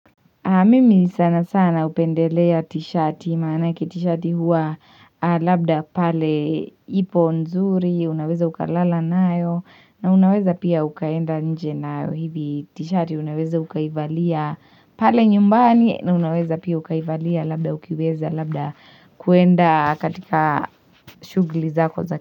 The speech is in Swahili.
Mimi sana sana upendelea t-shirti, manaki t-shirti hua labda pale ipo nzuri, unaweza ukalala nayo, na unaweza pia ukaenda nje nayo hivi t-shirti, unaweza ukaivalia pale nyumbani, na unaweza pia ukaivalia labda ukiweza, labda kuenda katika shugli zako za.